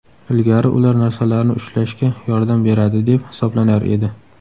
Ilgari ular narsalarni ushlashga yordam beradi deb hisoblanar edi.